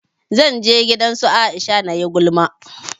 Zan je gidan su Aisha nayi gulma